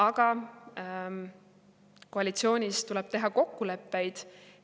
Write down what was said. Aga koalitsioonis tuleb teha kokkuleppeid.